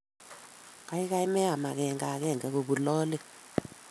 Kaikai meam akenge akenge kobun lolet.